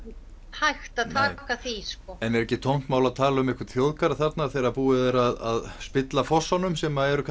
hægt að taka því sko en er ekki tómt mál að tala um einhvern þjóðgarð þarna þegar búið er að spilla fossunum sem eru